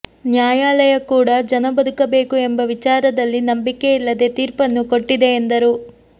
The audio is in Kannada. ನ್ಯಾಯಾಲಯ ಕೂಡ ಜನ ಬದುಕಬೇಕು ಎಂಬ ವಿಚಾರದಲ್ಲಿ ನಂಬಿಕೆಯಿಲ್ಲದೆ ತೀರ್ಪನ್ನು ಕೊಟ್ಟಿದೆ ಎಂದರು